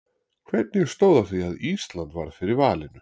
Hvernig stóð á því að Ísland varð fyrir valinu?